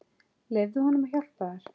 Leyfðu honum að hjálpa þér.